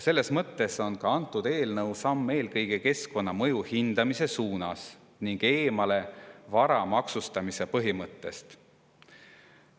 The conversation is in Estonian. Selles mõttes on antud eelnõu samm eelkõige keskkonnamõju hindamise suunas ning eemale vara maksustamise põhimõttest.